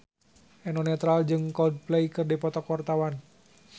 Eno Netral jeung Coldplay keur dipoto ku wartawan